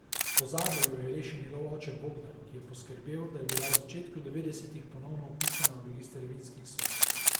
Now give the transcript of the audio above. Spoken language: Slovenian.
Pozabe jo je rešil njegov oče Bogdan, ki je poskrbel, da je bila v začetku devetdesetih ponovno vpisana v register vinskih sort.